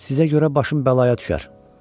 sizə görə başım bəlaya düşər.